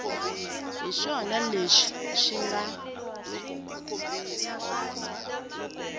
hi swona leswi swi nga